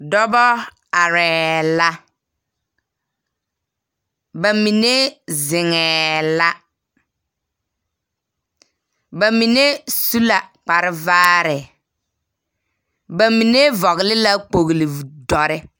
Dɔbɔ arɛɛ la, ba mine zeŋɛɛ la, ba mine su la kparvaare, ba mine vɔgele la kpogludɔrre